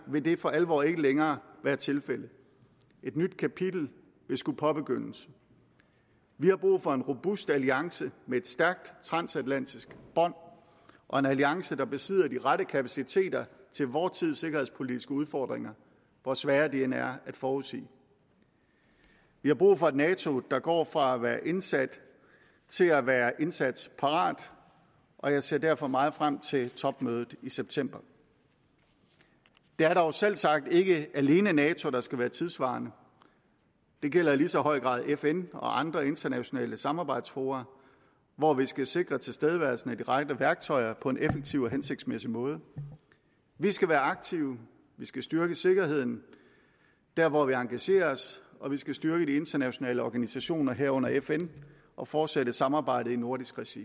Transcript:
vil det for alvor ikke længere være tilfældet et nyt kapitel skal påbegyndes vi har brug for en robust alliance med et stærkt transatlantisk bånd og en alliance der betyder at de rette kapaciteter til vor tids sikkerhedspolitiske udfordringer hvor svære de end er at forudsige vi har brug for et nato der går fra at være indsat til at være indsatsparat og jeg ser derfor meget frem til topmødet i september det er dog selvsagt ikke alene nato der skal være tidssvarende det gælder i lige så høj grad fn og andre internationale samarbejdsfora hvor vi skal sikre tilstedeværelsen af de rette værktøjer på en effektiv og hensigtsmæssig måde vi skal være aktive vi skal styrke sikkerheden der hvor vi engagerer os og vi skal styrke de internationale organisationer herunder fn og fortsætte samarbejdet i nordisk regi